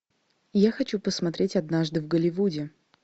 я хочу посмотреть однажды в голливуде